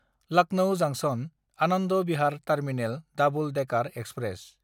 Lucknow जांक्सन–आनन्द Bihar terminal double decker express